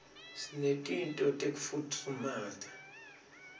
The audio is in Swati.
sinetinto tekufutfumata